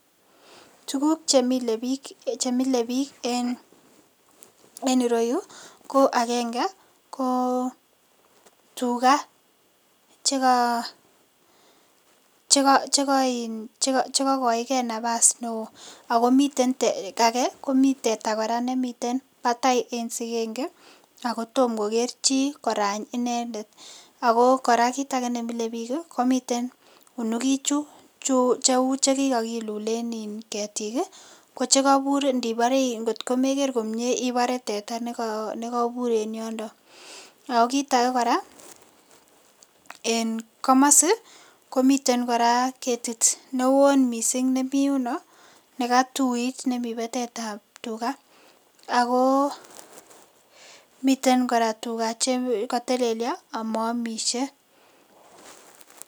Tuguk chemile biik chemile biik en ireyu ko agenge ko tuga cheka cheka um chekakoigee nafasi neoo akomiten ake komiten teta kora nemi batai en sigenge ako tom koker chii korany icheket. Ako kora kit age nemile biik ih komii unukik chu cheu chekikokilulen in ketik ih che ngotko mekere komie ibore teta nekobur en yondo. Ako kit age kora en komosi komiten kora ketit neoo missing nemii yuno nekatuit nemii batetab tuga ako miten kora tuga chekotelelyo amoomisye.